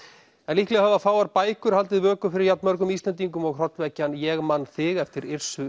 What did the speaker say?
líklega hafa fáar bækur haldið vöku fyrir jafn mörgum Íslendingum og hrollvekjan ég man þig eftir